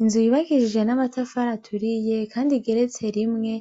Inzu yubakishije n'amatafari aturiye ,kandi igeretse rimwe,